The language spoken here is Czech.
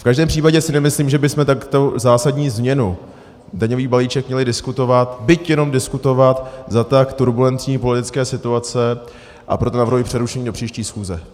V každém případě si nemyslím, že bychom takto zásadní změnu, daňový balíček, měli diskutovat, byť jenom diskutovat, za tak turbulentní politické situace, a proto navrhuji přerušení do příští schůze.